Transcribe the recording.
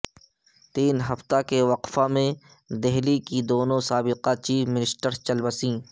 تین ہفتہ کے وقفہ میں دہلی کی دونوں سابقہ چیف منسٹرس چل بسیں